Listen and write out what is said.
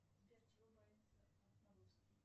сбер чего боится отморозки